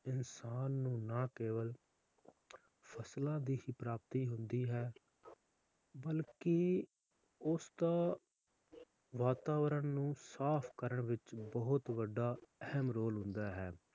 ਇਨਸਾਨ ਨੂੰ ਨਾ ਕੇਵਲ ਫਸਲਾਂ ਦੀ ਹੀ ਪ੍ਰਾਪਤੀ ਹੁੰਦੀ ਹੈ ਬਲਕਿ ਉਸ ਦਾ ਵਾਤਾਵਰਨ ਨੂੰ ਸਾਫ ਕਰਨ ਵਿਚ ਬਹੁਤ ਵੱਡਾ ਅਹਿਮ role ਹੁੰਦਾ ਹੈ l